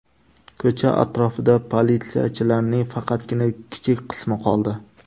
Ko‘cha atrofida politsiyachilarning faqatgina kichik qismi qoldi.